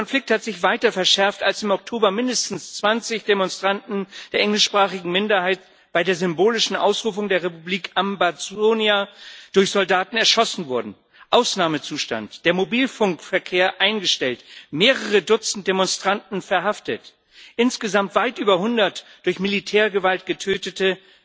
Der Konflikt hat sich weiter verschärft, als im Oktober mindestens 20 Demonstranten der englischsprachigen Minderheit bei der symbolischen Ausrufung der Republik Ambazonia durch Soldaten erschossen wurden Ausnahmezustand, der Mobilfunkverkehr eingestellt, mehrere Dutzend Demonstranten verhaftet, insgesamt weit über hundert durch Militärgewalt Getötete.